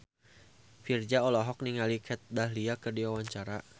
Virzha olohok ningali Kat Dahlia keur diwawancara